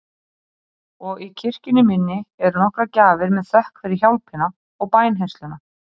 Og í kirkjunni minni eru nokkrar gjafir með þökk fyrir hjálpina og bænheyrsluna.